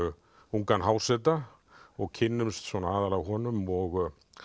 ungan háseta og kynnumst aðallega honum og